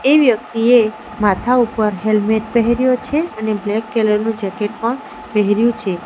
એ વ્યક્તિએ માથા ઉપર હેલ્મેટ પહેર્યો છે અને બ્લેક કેલર નું જેકેટ પણ પહેર્યું છે.